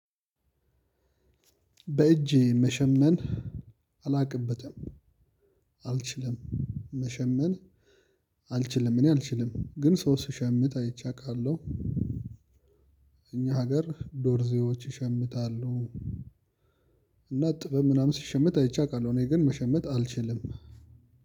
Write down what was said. በእጅ መሸመን አላቅበትም አልችልም መሸመን አልችልም እኔ አልችልም ግን ሰው ሲሸምን አይቼ አውቃለሁ። አገር ዶርዚዎች ይሸምታሉ። እና ጥበብ ምናምን ሲሸመት አይቼ አቃለሁ እኔ ግን መሸመት አልችልም።